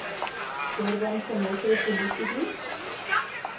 durbanse metro polisiediens